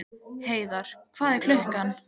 Heiðar, hvað er klukkan?